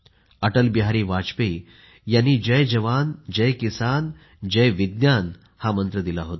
अटलबिहारी वाजपेयीजी यांनी जयजवान जयकिसान जयविज्ञान हा मंत्र दिला होता